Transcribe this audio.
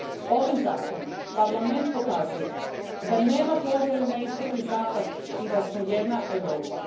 Ovim zakonom Parlament pokazuje da nema podjele na istok i zapad i da smo jedna Europa.